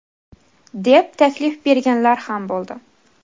deb taklif berganlar ham bo‘ldi.